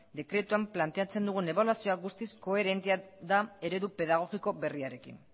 dekretuan planteatzen dugun ebaluazio guztiz koherentea da eredu pedagogiko berriarekin